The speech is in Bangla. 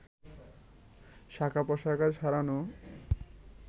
শাখা-প্রশাখায় ছড়ানো